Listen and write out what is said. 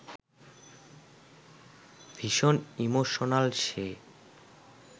ভীষণ ইমোশনাল সে